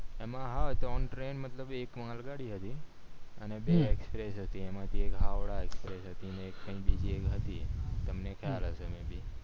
એમાં હા ત્રણ train મતલબ એક માંલ ગાડી હતી અને બે express હતી એમાં એક હાવડા express હતી અને બીજી એક હતી તમને ખ્યાલ હયશે એ ભી